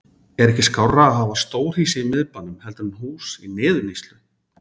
Er ekki skárra að hafa stórhýsi í miðbænum heldur en hús í niðurníðslu?